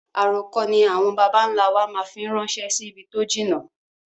Àrokò ni àwọn bàbà ń lá wa máa fi ń rànsẹ́ sì ibi tó jìnnà